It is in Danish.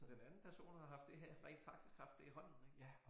Den anden har person har haft det her rent faktisk haft det i hånden ik